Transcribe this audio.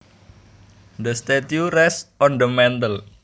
The statue rests on the mantle